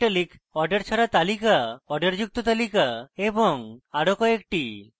order ছাড়া তালিকা order যুক্ত তালিকা এবং আরো কয়েকটি